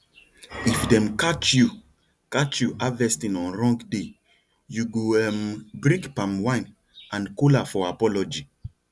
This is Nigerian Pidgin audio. if dem catch you catch you harvesting on wrong day you go um bring palm wine and kola for apology